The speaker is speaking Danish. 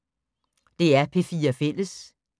DR P4 Fælles